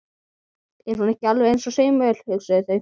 Er hún ekki alveg eins og saumavél, hugsaði það.